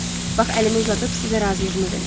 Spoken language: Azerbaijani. Bax əlimi uzadıb sizə razılığımı verirəm.